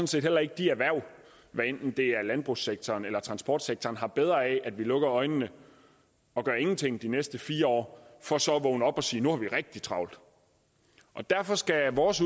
set heller ikke de erhverv hvad enten det er i landbrugssektoren eller transportsektoren har bedre af at vi lukker øjnene og gør ingenting de næste fire år for så at vågne op og sige nu har vi rigtig travlt derfor skal vores